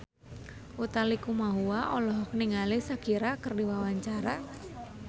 Utha Likumahua olohok ningali Shakira keur diwawancara